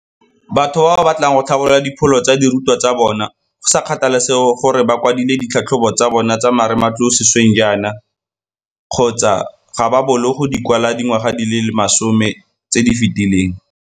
Batho ba ba batlang go tlhabolola dipholo tsa dirutwa tsa bona, go sa kgathalesege gore ba kwadile ditlhatlhobo tsa bona tsa marematlou sešweng jaana kgotsa ga ba boolo go di kwala dingwaga di le masome tse di fetileng.